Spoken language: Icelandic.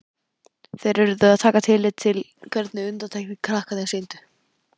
Þeir urðu að taka tillit til hvernig undirtektir krakkarnir sýndu.